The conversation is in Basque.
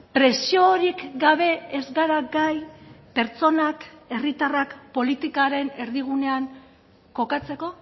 presiorik gabe ez gara gai pertsonak herritarrak politikaren erdigunean kokatzeko